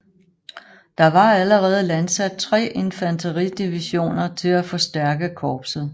Der var allerede landsat tre infanteridivisioner til at forstærke korpset